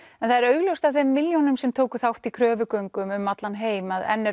en það er augljóst af þeim milljónum sem tóku þátt í kröfugöngum um allan heim að enn er